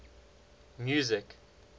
music